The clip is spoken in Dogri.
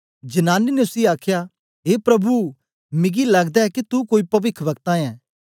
जनानी ने उसी आखया ए प्रभु मिगी लगदा ए के तू कोई पविखवक्ता ऐं